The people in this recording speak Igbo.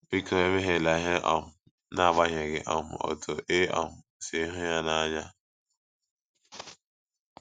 Biko ,emehiela ihe, um n’agbanyeghị um otú ị um sị hụ ya n’anya! ”